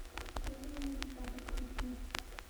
черные небеса подключи